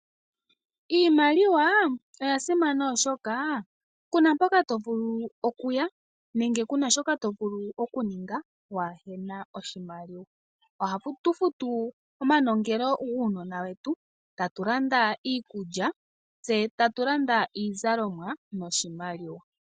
Iimaliwa oya simana, oshoka ku na mpoka to vulu oku ya, nenge ku na shoka to vulu okuninga waa he na oshimaliwa. Ohatu futu omanongelo guunona wetu, tatu landa iikulya , tse tatu landa iizalomwa noshimaliwa.